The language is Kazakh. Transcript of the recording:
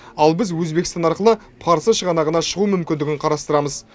ал біз өзбекстан арқылы парсы шығанағына шығу мүмкіндігін қарастырамыз